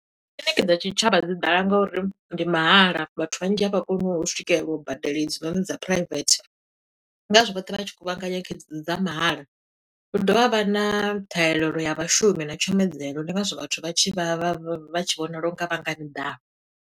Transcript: Kiḽini dza tshitshavha dzi ḓala nga uri ndi mahala, vhathu vhanzhi a vha koni u swikelela u badela hedzinoni dza private. Ndi ngazwo vhoṱhe vha tshi kuvhangana kha dze dzi dza mahala. Hu dovha ha vha na ṱhahelelo ya vhashumi na tshumedzelo, ndi ngazwo vhathu vha tshi vha vha vha tshi vhonala u nga vha nga miḓalo.